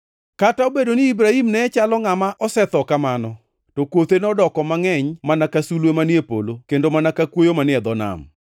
Kata obedo ni Ibrahim ne chalo ngʼama osetho kamano, to kothe nodoko mangʼeny mana ka sulwe manie polo kendo mana ka kwoyo manie dho nam.